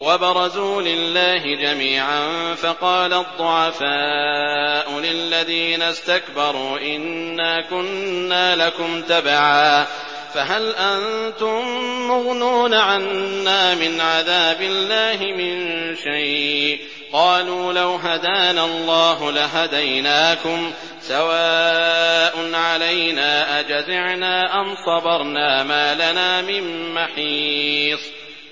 وَبَرَزُوا لِلَّهِ جَمِيعًا فَقَالَ الضُّعَفَاءُ لِلَّذِينَ اسْتَكْبَرُوا إِنَّا كُنَّا لَكُمْ تَبَعًا فَهَلْ أَنتُم مُّغْنُونَ عَنَّا مِنْ عَذَابِ اللَّهِ مِن شَيْءٍ ۚ قَالُوا لَوْ هَدَانَا اللَّهُ لَهَدَيْنَاكُمْ ۖ سَوَاءٌ عَلَيْنَا أَجَزِعْنَا أَمْ صَبَرْنَا مَا لَنَا مِن مَّحِيصٍ